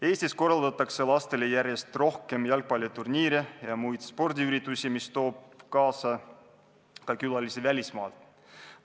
Eestis korraldatakse lastele järjest rohkem jalgpalliturniire ja muid spordiüritusi, mis toob kaasa ka külalisi välismaalt.